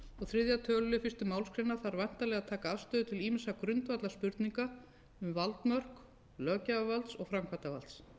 þriðja tölulið fyrstu málsgrein þarf væntanlega að taka afstöðu til ýmissa grundvallarspurninga um valdmörk löggjafarvalds og framkvæmdarvalds